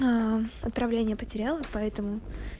поздравление потерял и поэтому